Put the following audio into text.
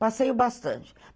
Passeio bastante.